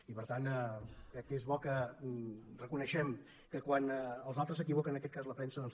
i per tant crec que és bo que reconeguem que quan els altres s’equivoquen en aquest cas la premsa doncs